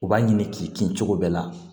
U b'a ɲini k'i kin cogo bɛɛ la